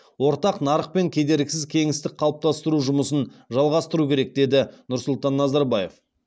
ортақ нарық пен кедергісіз кеңістік қалыптастыру жұмысын жалғастыру керек деді нұрсұлтан назарбаев